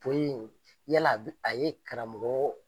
yala a bi a ye karamɔgɔ